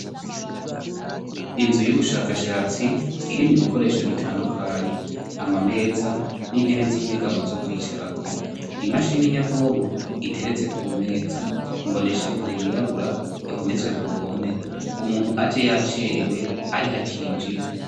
Inzu y'ubushakashatsi irimwo ibikoresho bitandukanye amameza n'intebe z'inyegamo zo kwicarako, imashine nyabwonko iteretse ku meza imboneshakure yirabura ihometswe ku ruhome, umuntu aje yacerewe ariho acinjira.